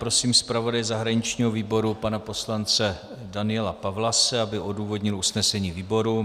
Prosím zpravodaje zahraničního výboru pana poslance Daniela Pawlase, aby odůvodnil usnesení výboru.